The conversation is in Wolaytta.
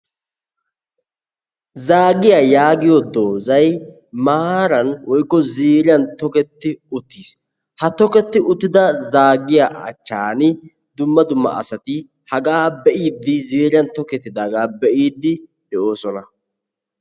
"Zaagiya"yaagiyo doozzay maaran woykko ziiriyan toketti uttis. Ha toketti uttida zaagiya achchan dumma dumma asati hagaa be"iiddi ziiriyan toketidaagaa be'iiddi de'oosona.